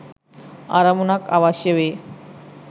අරමුණක් අවශ්‍ය වේ.